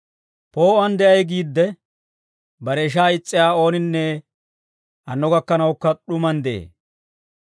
Poo'uwaan de'ay giidde, bare ishaa is's'iyaa ooninne hanno gakkanawukka d'umaan de'ee.